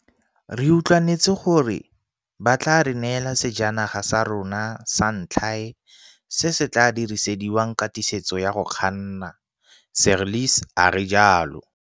Re utlwanetse gore ba tla re neela sejanaga sa rona sa ntlhae se se tla dirisediwang katisetso ya go kganna, Seirlis a re jalo.